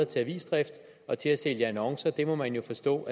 til avisdrift og til at sælge annoncer det må man jo forstå